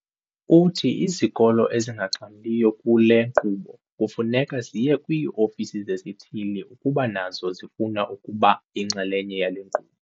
Uthi izikolo ezingaxhamliyo kule nkqubo kufuneka ziye kwii-ofisi zesithili ukuba nazo zifuna ukuba yinxalenye yale nkqubo.